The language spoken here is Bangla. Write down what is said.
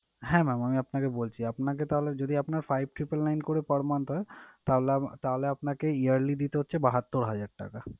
হ্যাঁ mam আমি আপনাকে বলছি। আপনাকে তাহলে যদি আপনার five triple nine করে per month হয়, তাহলে আমা~ তাহলে আপনাকে yearly দিতে হচ্ছে বাহাত্তুর হাজার টাকা।